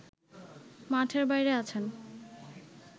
মাঠের বাইরে আছেন